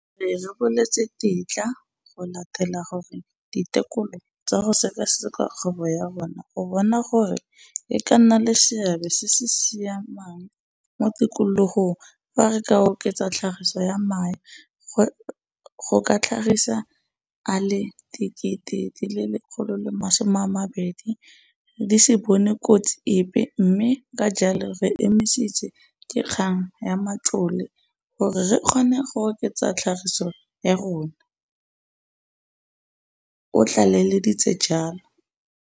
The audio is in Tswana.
Re reboletswe tetla go latela gore ditekolo tsa go sekaseka kgwebo ya rona go bona gore e ka nna le seabe se se sa siamang mo tikologong fa re ka oketsa tlhagiso ya mae go ka tlhagisa a le 120 000 di se bone kotsi epe mme ka jalo re emisitswe ke kgang ya matlole gore re kgone go oketsa tlhagiso ya rona, o tlaleleditse jalo.